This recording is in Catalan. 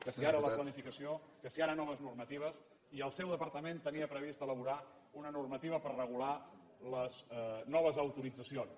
que si ara la planificació que si ara noves normatives i el seu departament tenia previst elaborar una normativa per regular les noves autoritzacions